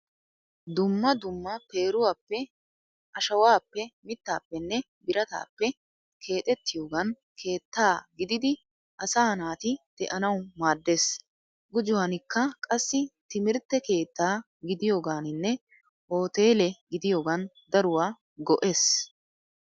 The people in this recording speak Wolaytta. Dumma dumma peeruwaappe, ashawaappe, mittaappenne birataappe keexettiyogan keetta gididi asaa naati de'anawu maaddeees. Gujuwankka qassi timirtte keetta gidiyoganinne hooteele gidiyogan daruwaa go'ees.